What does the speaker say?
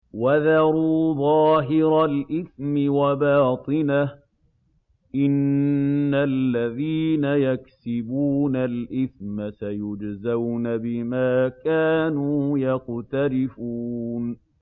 وَذَرُوا ظَاهِرَ الْإِثْمِ وَبَاطِنَهُ ۚ إِنَّ الَّذِينَ يَكْسِبُونَ الْإِثْمَ سَيُجْزَوْنَ بِمَا كَانُوا يَقْتَرِفُونَ